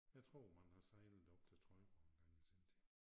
Jeg tror man har sejlet op til Trøjborg engang i sin tid